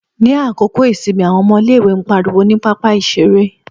Ní àkókò ìsinmi àwọn ọmọ ilé-ìwé ń pariwo ní pápá-ìṣeré.